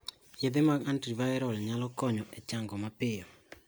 Yedhe mag antiviral nyalo kinyo e chango mapiyo.